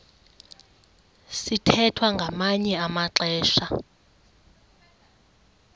sithwethwa ngamanye amaxesha